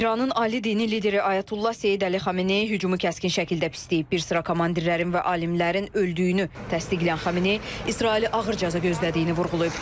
İranın Ali dini lideri Ayətullah Seyid Əli Xameneyi hücumu kəskin şəkildə pisləyib, bir sıra komandirlərin və alimlərin öldüyünü təsdiqləyən Xameneyi İsraili ağır cəza gözlədiyini vurğulayıb.